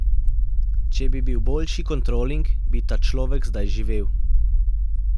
Če bi bil boljši kontroling, bi ta človek zdaj živel.